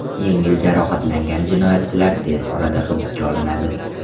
Yengil jarohatlangan jinoyatchilar tez orada hibsga olinadi.